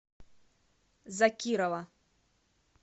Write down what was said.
закирова